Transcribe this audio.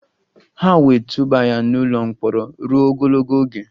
Ha wee tụba ya n' ụlọ mkpọrọ ruo ogologo oge.